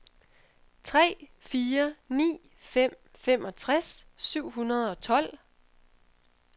tre fire ni fem femogtres syv hundrede og tolv